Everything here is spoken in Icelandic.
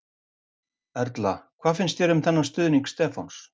Erla: Hvernig finnst þér um þennan stuðning Stefán?